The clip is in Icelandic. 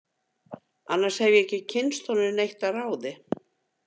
Annars hef ég ekki kynnst honum neitt að ráði.